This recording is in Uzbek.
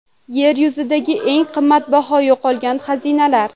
Yer yuzidagi eng qimmatbaho yo‘qolgan xazinalar.